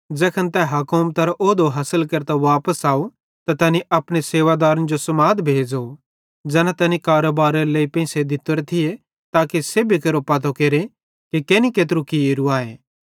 ज़ैखन तै हुकुमतरो औहुदो हासिल केरतां वापस अव त तैनी अपने सेवादारे जो समाद भेज़ो ज़ैना तैनी कारोबारेरे लेइ पेंइसे दित्तोरे थिये ताके सेब्भी केरो पतो केरे कि केनि केत्रू कियेरू आए